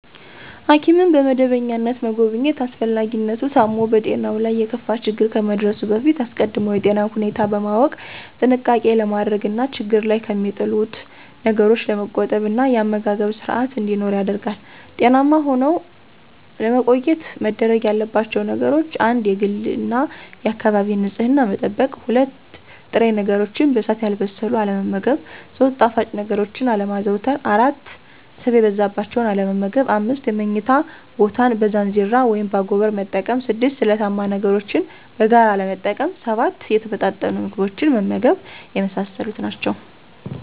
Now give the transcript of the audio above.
ሐኪምን በመደበኛነት መጎብኘት አስፈላጊነቱ ታሞ በጤናው ላይ የከፋ ችግር ከመድረሱ በፊት አስቀድሞ የጤናን ሁኔታ በማወቅ ጥንቃቄ ለማድረግ እና ችግር ላይ ከሚጥሉት ነገሮች ለመቆጠብ እና የአመጋገብ ስርአት እንዲኖር ያደርጋል። ጤናማ ሁነው ለመቆየት መደረግ ያለባቸው ነገሮች : 1-የግልና የአካባቢን ንጽህና መጠበቅ። 2-ጥሬ ነገሮችን በእሳት ያልበሰሉትን አለመመገብ። 3-ጣፋጭ ነገሮችን አለማዘውተር። 4-ስብ የበዛባቸውን አለመመገብ። 5-የምኝታ ቦታን በዛንዚራ (በአጎበር)መጠቀም። 6-ስለታማ ነገሮችን በጋራ አለመጠቀም። 7-የተመጣጠኑ ምግቦችን መመገብ የመሳሰሉት ናቸው።